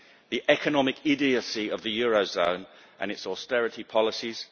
the economic idiocy of the eurozone and its austerity policies